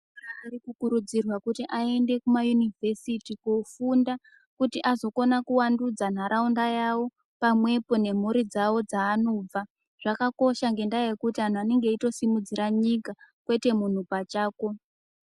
Ana ari kukurudzirwa kuti aende kumayunivhesiti kofunda kuti azokona kuwandudza ntaraunda yawo pamwepo nemhuri dzawo dzeanobva zvakakosha ngendaa yekuti vanenga veitosimudzira nyika kwete muntu pachako.